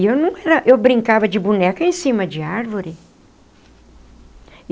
E eu não era eu brincava de boneca em cima de árvore.